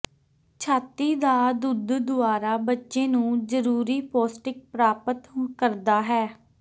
ਛਾਤੀ ਦਾ ਦੁੱਧ ਦੁਆਰਾ ਬੱਚੇ ਨੂੰ ਜ਼ਰੂਰੀ ਪੌਸ਼ਟਿਕ ਪ੍ਰਾਪਤ ਕਰਦਾ ਹੈ